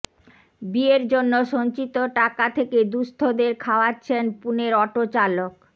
বিয়ের জন্য সঞ্চিত টাকা থেকে দুঃস্থদের খাওয়াচ্ছেন পুণের অটোচালক